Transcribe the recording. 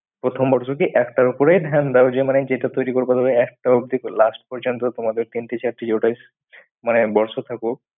প্রথম বর্ষ কি একটার ওপরে ধ্যান দাও যে মানে যেটা তৈরী করবো তুমি একটা অব্দি last পর্যন্ত তোমাদের তিনটি চারটি যটাই বর্ষ থাকুক